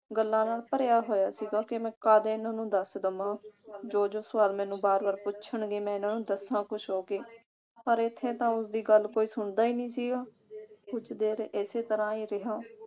ਗੱਲਾਂ ਨਾਲ ਭਰਿਆ ਹੋਇਆ ਸੀਗਾ ਕਿ ਮੈਂ ਕਦ ਇਨ੍ਹਾਂ ਨੂੰ ਦੱਸ ਦਵਾ ਜੋ ਜੋ ਸਵਾਲ ਮੈਨੂੰ ਬਾਰ ਬਾਰ ਪੁੱਛਣਗੇ ਮੈਂ ਇਨ੍ਹਾਂ ਨੂੰ ਦੱਸਾਂ ਖੁਸ਼ ਹੋ ਕੇ ਪਰ ਇਥੇ ਤਾਂ ਉਸਦੀ ਗੱਲ ਕੋਈ ਸੁਣਦਾ ਹੀ ਨਹੀਂ ਸੀਗਾ। ਕੁਛ ਦੇਰ ਇਸੇ ਤਰ੍ਹਾਂ ਹੀ ਰਿਹਾ